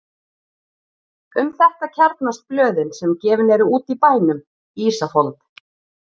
Um þetta kjarnast blöðin sem gefin eru út í bænum: Ísafold